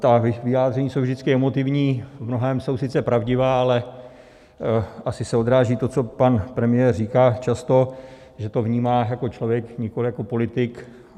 Ta vyjádření jsou vždycky emotivní, v mnohém jsou sice pravdivá, ale asi se odráží to, co pan premiér říká často, že to vnímá jako člověk, nikoli jako politik.